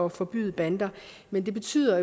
at forbyde bander men det betyder